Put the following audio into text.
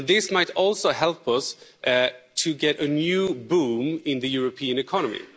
This might also help us to get a new boom in the European economy.